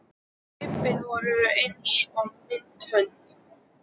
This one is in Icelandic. En hlaupin voru eins og mild hönd